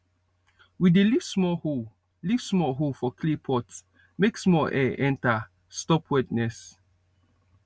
we dey leave small hole leave small hole for clay pot make small air enter stop wetness